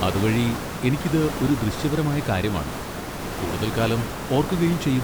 അതുവഴി എനിക്കിത് ഒരു ദൃശ്യപരമായ കാര്യമാണ്, കൂടുതൽ കാലം ഓർക്കുകയും ചെയ്യും.